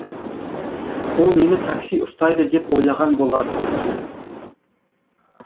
ол мені такси ұстайды деп ойлаған болар